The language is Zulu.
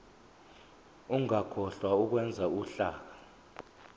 ungakhohlwa ukwenza uhlaka